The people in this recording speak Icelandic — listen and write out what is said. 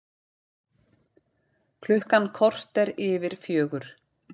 Klukkan korter yfir fjögur